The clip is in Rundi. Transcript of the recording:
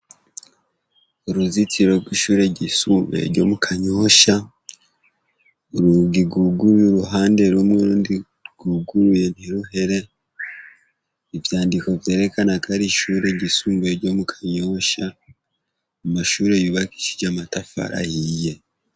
Uruzitiro rw'ishure ryisumubuye ryo mu Kanyosha urugi rwuguruye uruhande rumwe urundi rwuguruye ntiruhere ivyandiko vyerekana ko ari ishure ryisumubuye ryo mu Kanyosha amashure yubakishije amatafari ahiye.